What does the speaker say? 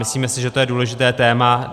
Myslíme si, že to je důležité téma.